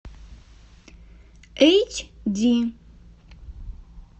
эйч ди